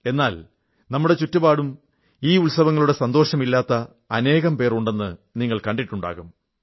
എന്നാൽ നമ്മുടെ ചുറ്റുപാടും ഈ ഉത്സവങ്ങളുടെ സന്തോഷം ഇല്ലാത്ത അനേകം പേർ ഉണ്ടെന്നു നിങ്ങൾ കണ്ടിട്ടുണ്ടാകും